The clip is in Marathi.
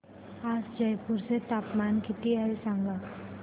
आज जयपूर चे तापमान किती आहे सांगा